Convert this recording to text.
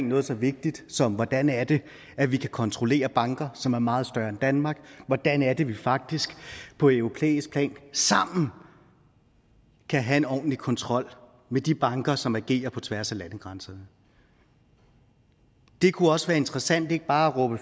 noget så vigtigt som hvordan er det at vi kan kontrollere banker som er meget større end danmark hvordan er det at vi faktisk på europæisk plan sammen kan have en ordentlig kontrol med de banker som agerer på tværs af landegrænserne det kunne også være interessant ikke bare at råbe